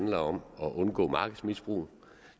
handler om at undgå markedsmisbrug